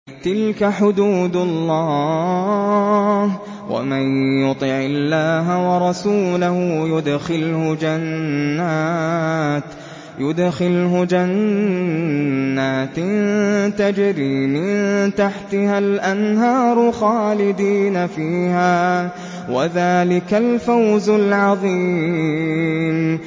تِلْكَ حُدُودُ اللَّهِ ۚ وَمَن يُطِعِ اللَّهَ وَرَسُولَهُ يُدْخِلْهُ جَنَّاتٍ تَجْرِي مِن تَحْتِهَا الْأَنْهَارُ خَالِدِينَ فِيهَا ۚ وَذَٰلِكَ الْفَوْزُ الْعَظِيمُ